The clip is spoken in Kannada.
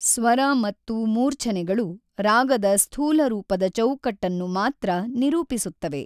ಸ್ವರ ಮತ್ತು ಮೂರ್ಛನೆಗಳು ರಾಗದ ಸ್ಥೂಲರೂಪದ ಚೌಕಟ್ಟನ್ನು ಮಾತ್ರ ನಿರೂಪಿಸುತ್ತವೆ.